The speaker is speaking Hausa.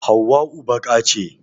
Hauwau baƙa ce